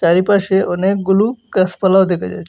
এই পাশে অনেকগুলু গাছপালাও দেখা যায়।